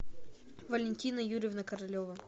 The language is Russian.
валентина юрьевна королева